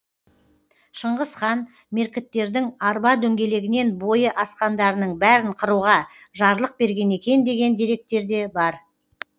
шыңғыс хан меркіттердің арба дөңгелегінен бойы асқандарының бәрін қыруға жарлық берген екен деген деректер де бар